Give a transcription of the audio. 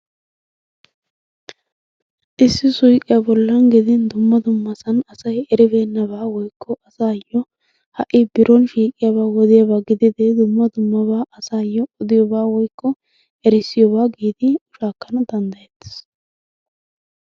issi suyqqiya bollan gelin dumma dummasan asay eribeenabaa woykko asay aqiidi biron shiiqiyaba gidiyaba gididi dumma dumma asayyo de'obaa woykko errissiyoobaa giidi shaakana danddayetees.